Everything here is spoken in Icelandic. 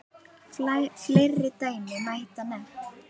Fleiri dæmi mætti nefna.